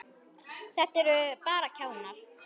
Þetta eru bara kjánar.